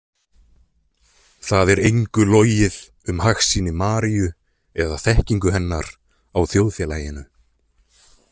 Það er engu logið um hagsýni Maríu eða þekkingu hennar á þjóðfélaginu.